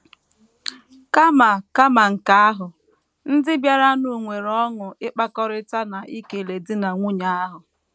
Kama Kama nke ahụ, ndị bịaranụ nwere ọṅụ ịkpakọrịta na ikele di na nwunye ahụ.